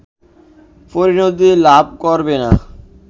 পরিণতি লাভ করবে না